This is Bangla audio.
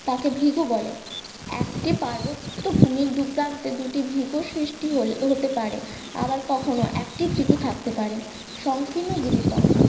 তাকে ভ্রিগু বলে। একটি পার্বত্য ভূমির দু প্রান্তে দুটি ভ্রিগু সৃষ্টি হলে হতে পারে আবার কখনো একটি ভ্রিগু থাকতে পারে সংকীর্ণ গিরিপথ